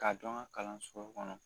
K'a don an ka kalansow kɔnɔ